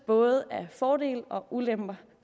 både fordele og ulemper